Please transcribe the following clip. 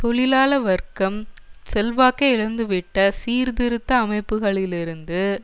தொழிலாள வர்க்கம் செல்வாக்கை இழந்துவிட்ட சீர்த்திருத்த அமைப்புகளிலிருந்து